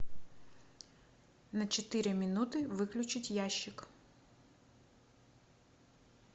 на четыре минуты выключить ящик